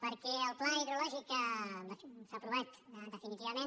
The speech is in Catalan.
perquè el pla hidrològic s’ha aprovat definitivament